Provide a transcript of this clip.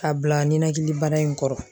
K'a bila ninakili bana in kɔrɔ.